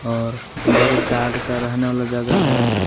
और इधर गार्ड का रहने वाला जगह है।